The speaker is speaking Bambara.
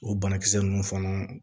O banakisɛ ninnu fana